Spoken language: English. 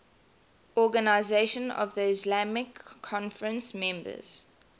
organisation of the islamic conference members